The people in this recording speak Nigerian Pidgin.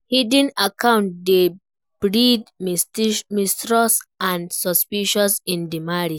Hidden account dey breed mistrust and suspicion in di marriage.